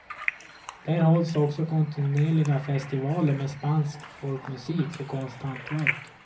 Där hålls också kontinuerliga festivaler med spansk folkmusik och konsthantverk.